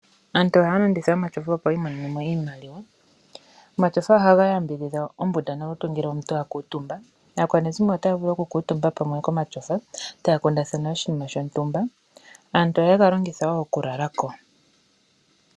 Aantu ohaya landitha omatyofa opo yi imonene mo iimaliwa. Omatyofa ohaga yambidhidha ombunda nolutu ngele omuntu a kuutumba. Aakwanezimo otaya vulu okukuutumba pamwe komatyofa taya kundathana oshinima shontumba, aantu ohaye ga longitha wo okulala ko.